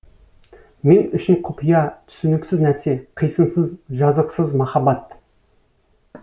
мен үшін құпия түсініксіз нәрсе қисынсыз жазықсыз махаббат